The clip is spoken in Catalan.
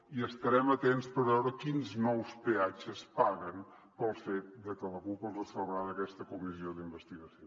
i estarem atents per veure quins nous peatges paguen pel fet de que la cup els salvarà d’aquesta comissió d’investigació